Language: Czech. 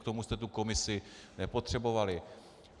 K tomu jste tu komisi nepotřebovali.